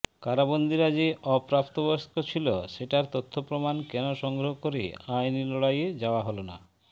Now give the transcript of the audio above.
কারাবন্দিরা যে অপ্রাপ্তবয়স্ক ছিল সেটার তথ্য প্রমাণ কেন সংগ্রহ করে আইনী লড়াইয়ে যাওয়া হল না